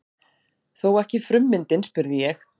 Þó ekki frummyndin? spurði ég.